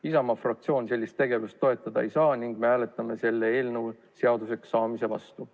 Isamaa fraktsioon sellist tegevust toetada ei saa ning me hääletame selle eelnõu seaduseks saamise vastu.